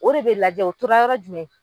O de be lajɛ. O tora yɔrɔ jumɛn ?